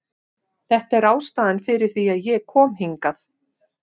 Þetta er ástæðan fyrir því að ég kom hingað.